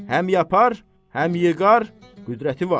Həm yapar, həm yığar, qüdrəti var!